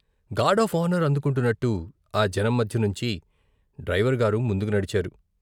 Gourd of honour అందుకుంటున్నట్టు ఆజనం మధ్య నుంచి డ్రైవరు గారు ముందుకు నడిచారు.